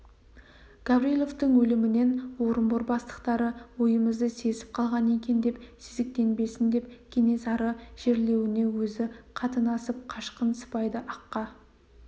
гавриловтың өлімінен орынбор бастықтары ойымызды сезіп қалған екен деп сезіктенбесін деп кенесары жерлеуіне өзі қатынасып қашқын сыпайды аққа